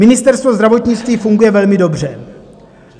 Ministerstvo zdravotnictví funguje velmi dobře.